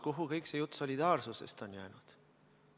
Kuhu kõik see jutt solidaarsusest on jäänud?